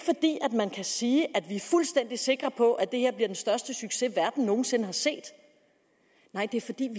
man kan sige at vi er fuldstændig sikre på at det her bliver den største succes verden nogen sinde har set nej det er fordi vi